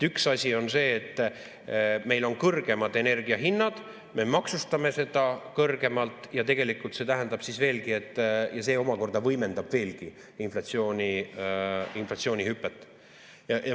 Üks asi on see, et meil on kõrgemad energia hinnad, me maksustame seda kõrgemalt ja see tähendab, et see omakorda võimendab veelgi inflatsioonihüpet.